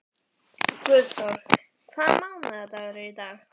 Guðþór, hvaða mánaðardagur er í dag?